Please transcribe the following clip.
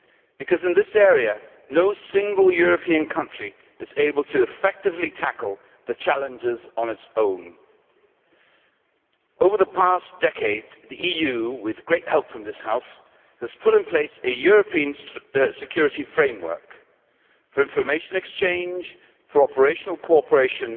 Because in this area, no single European country is able to effectively tackle the challenges on its own. Over the past decade the EU, with great help from this House, has put in place a European security framework for information exchange, for operational cooperation,